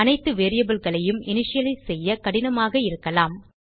அனைத்து variableகளையும் இனிஷியலைஸ் செய்ய கடினமாக இருக்கலாம்